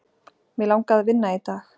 Mig langaði að vinna í dag.